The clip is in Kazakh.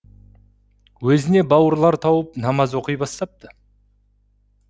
өзіне бауырлар тауып намаз оқи бастапты